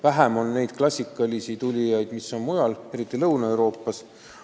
Vähem on n-ö klassikalisi tulijad, kes on pärit mujalt, eriti Lõuna-Euroopast.